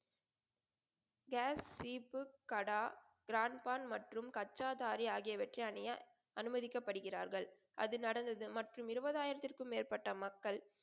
Case சீப்பு, கடா, க்ரான்பான் மற்றும் கட்சாதாரி ஆகியவற்றை அணிய அனுமதிக்கப்படுகிறார்கள். அது நடந்தது. மற்றும் இருபது ஆயிரத்திற்கும் மேற்பட்ட மக்கள்,